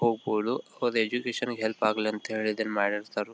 ಹೋಗ್ಬೋದು ಹೋದೆ ಎಜುಕೇಶನ್ ಗೆ ಹೆಲ್ಪ್ ಆಗ್ಲಿ ಅಂತ ಹೇಳಿ ಇದನ್ನ ಮಾಡಿ ಇರ್ತರೂ --